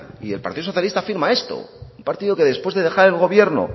y el partido socialista afirma esto un partido que después de dejar el gobierno